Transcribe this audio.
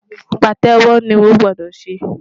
Pàtẹ́wọ́ ni o gbọ́dọ̀ ṣe!